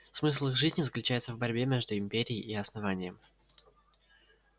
смысл их жизни заключается в борьбе между империей и основанием